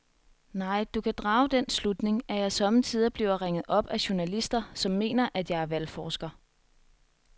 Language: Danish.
Nej, du kan drage den slutning, at jeg sommetider bliver ringet op af journalister, som mener, at jeg er valgforsker.